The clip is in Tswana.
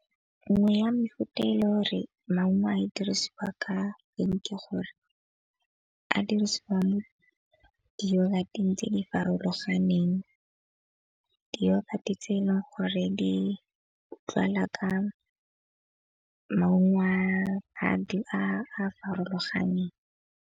Nngwe ya mefuta e le gore maungo a dirisiwa ka eng ke gore a dirisiwang mo di tse di farologaneng. gore di utlwala ka maungo a a farologaneng.